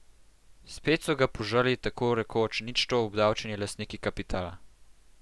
Spet so ga požrli tako rekoč ničto obdavčeni lastniki kapitala.